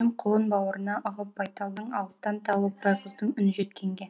құлын бауырына ығып байталдың алыстан талып байғыздың үні жеткенге